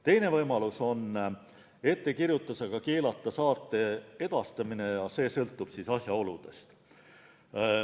Teine võimalus on ettekirjutusega keelata saate edastamine ja see sõltub asjaoludest.